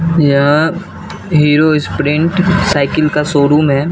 यह Hero Sprint cycle का showroom है।